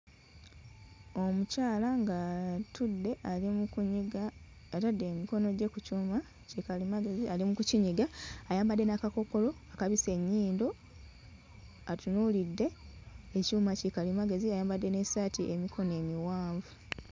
Omukyala ng'atudde ali mu kunyiga, atadde emikono gye ku kyuma ki kalimagezi ali mu kukinyiga ayambadde n'akakookolo kabisse ennyindo atunuulidde ekyuma ki kalimagezi ayambadde n'essaati ey'emikono emiwanvu.